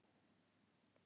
Hver á að reka þær?